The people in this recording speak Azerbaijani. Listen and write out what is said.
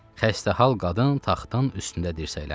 Xəstə hal qadın taxtın üstündə dirsəkləndi.